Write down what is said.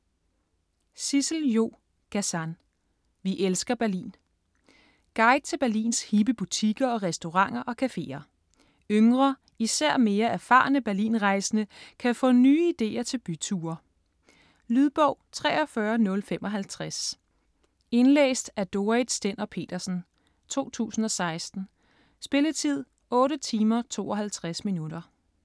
Gazan, Sissel-Jo: Vi elsker Berlin Guide til Berlins hippe butikker og restauranter og cafeer. Yngre, især mere erfarne Berlinrejsende kan få nye ideer til byture. Lydbog 43055 Indlæst af Dorrit Stender-Petersen, 2016. Spilletid: 8 timer, 52 minutter.